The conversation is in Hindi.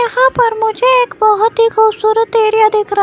यहां पर मुझे एक बहुत ही खूबसूरत एरिया देख --